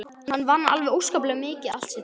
Hann vann alveg óskaplega mikið allt sitt líf.